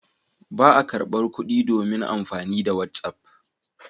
Ba a karɓar kuɗi domin amfani da whatsapp.